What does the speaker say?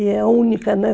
E é única, né?